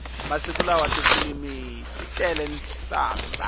masiku lawa tifilimi ti tele nhlambha